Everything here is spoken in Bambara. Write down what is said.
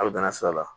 A bɛ danna sira la